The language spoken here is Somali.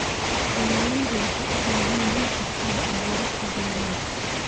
Beeraleydu waxay u baahan yihiin xirfado abuurista beeraha.